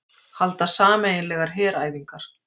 Halda sameiginlegar heræfingar